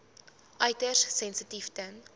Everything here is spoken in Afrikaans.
uiters sensitief ten